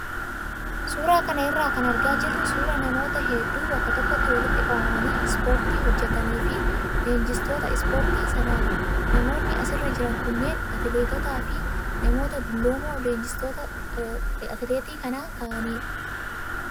Suuraa kana irraa kan argaa jirru suuraa namoota hedduu bakka tokkotti walitti qabamanii ispoortii hojjatanii fi leenjistoota ispoortii sanaati. Namoonni asirra jiran kunneen atileetitotaa fi namoota dulloomoo leenjistoota atileetii kan ta'anidha.